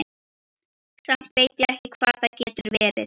Samt veit ég ekki hvað það getur verið.